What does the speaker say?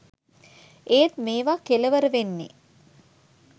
ඒත් මේවා කෙලවර වෙන්නේ